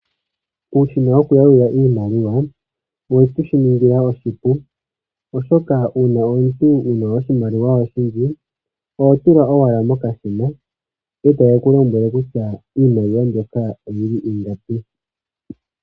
Uushina wo kuyalula iimaliwa, oweshi tu ningila oshipu, oshoka uuna omuntu wuna oshimaliwa oyindji, oho tula owala mokashina ndele take ku lombwele kutya oyili ingapi.